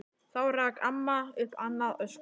Þá rak amma upp annað öskur.